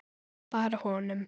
Bara honum.